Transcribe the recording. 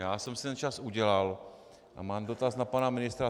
Já jsem si ten čas udělal a mám dotaz na pana ministra.